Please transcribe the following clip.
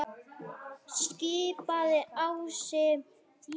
skipaði Ási.